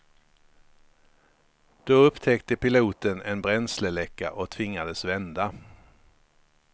Då upptäckte piloten en bränsleläcka och tvingades vända.